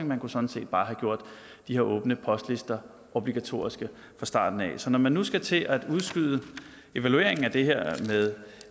man kunne sådan set bare have gjort de her åbne postlister obligatoriske fra starten af så når man nu skal til at udskyde evalueringen af det her med